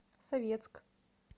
советск